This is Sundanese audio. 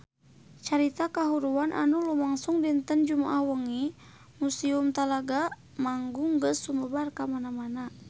Carita kahuruan anu lumangsung dinten Jumaah wengi di Museum Talaga Manggung geus sumebar kamana-mana